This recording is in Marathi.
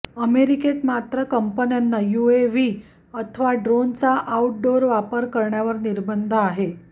अमेरिकेत मात्र कंपन्यांना यूएव्ही अथवा ड्रोनचा आऊटडोअर वापर करण्यावर निर्बंध आहेत